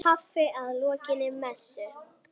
Kaffi að lokinni messu.